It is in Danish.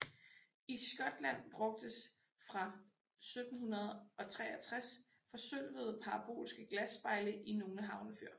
I Skotland brugtes fra 1763 forsølvede parabolske glasspejle i nogle havnefyr